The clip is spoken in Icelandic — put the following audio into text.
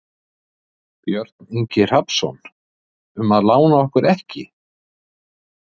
Björn Ingi Hrafnsson: Um að lána okkur ekki?